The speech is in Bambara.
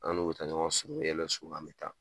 An n'u bɛ taa ɲɔgɔn sɔ an bɛ taa